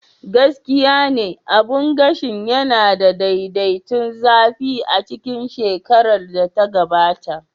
Gaskiya ne, abun gashin yana da daidaiton zafi a cikin shekarar da ta gabata.